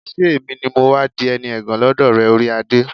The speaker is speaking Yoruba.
ṣé èmi ni mọ́ wá di ẹni ẹ̀gàn lọ́dọ̀ rẹ, orí adé?